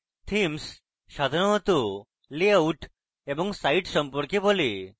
themes সাধারণ layout এবং site সম্পর্কে বলে